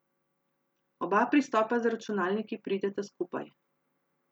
Oba pristopa z računalniki prideta skupaj.